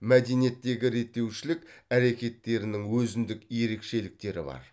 мәдениеттегі реттеушілік әрекеттерінің өзіндік ерекшеліктері бар